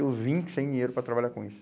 E eu vim sem dinheiro para trabalhar com isso.